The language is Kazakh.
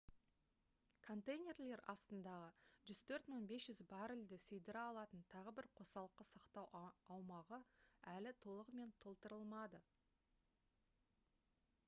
контейнерлер астындағы 104 500 баррельді сыйдыра алатын тағы бір қосалқы сақтау аумағы әлі толығымен толтырылмады